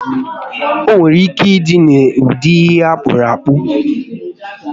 Onwere ike ịdị n'ụdị ihe akpụrụ akpụ